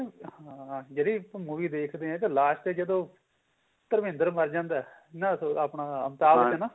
ਹਾਂ ਜਿਹੜੀ ਆਪਾਂ movie ਦੇਖਦੇ ਹਾਂ ਇਹਦੇ last ਦੇ ਜਦੋਂ ਧਰਮਿੰਦਰ ਮਰ ਜਾਂਦਾ ਨਾ ਆਪਾਂ